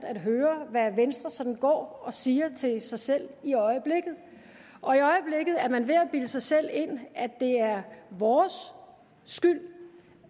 at høre hvad venstre sådan går og siger til sig selv i i øjeblikket er man ved at bilde sig selv ind at det er vores skyld